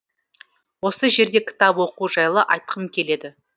осы жерде кітап оқу жайлы айтқым келеді